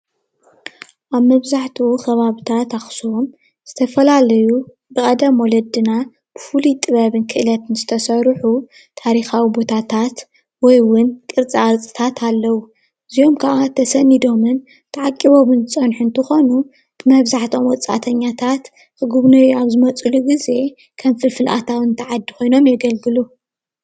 ኣብ መብዛሕቲኡ ከባቢታት ኣክሱምን ዝተፈላለዩ ብቐደም ወለድና ፉሉይ ጥበብን ክእለትን ዝተሰርሑ ታሪካዊ ቦታታት ወይ እውን ቅርፅታት ኣለው። እዚኦም ካዓ ተሰኒዶምን ተዓቂቦምን ዝፀነሑ እንትኾኑ መብዛሕቲኦም ወፃእተኛታት ክግውንዩ ኣብ ዝመፅሉ ግዜ ከም ፍልፍል ኣታዊ እቲ ዓዲ ኮይኖም የገልግሉ።